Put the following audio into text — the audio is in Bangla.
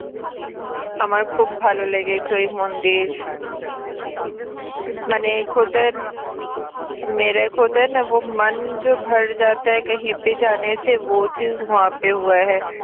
আমার খুব ভালো লেগেছে ওই মন্দির